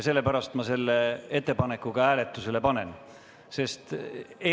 Sellepärast ma selle ettepaneku hääletusele panengi.